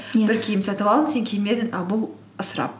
иә бір киім сатып алып сен кимедің а бұл ысырап